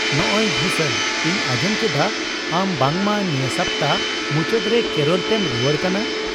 ᱱᱚᱸᱜ ᱚᱭ ᱵᱷᱩᱥᱚᱱ , ᱤᱧ ᱟᱸᱡᱚᱢ ᱠᱮᱫᱟ ᱟᱢ ᱵᱟᱝᱢᱟ ᱱᱤᱭᱟᱹ ᱥᱟᱯᱛᱟ ᱢᱩᱪᱟᱹᱫ ᱨᱮ ᱠᱮᱨᱚᱞ ᱛᱮᱢ ᱨᱩᱣᱟᱹᱲ ᱠᱟᱱᱟ ?